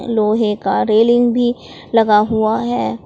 लोहे का रेलिंग भी लगा हुआ है।